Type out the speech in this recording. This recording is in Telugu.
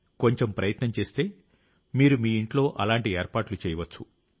కొంచెం ప్రయత్నం చేస్తే మీరు మీ ఇంట్లో అలాంటి ఏర్పాట్లు చేయవచ్చు